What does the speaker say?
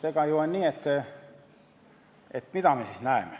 Mida me näeme?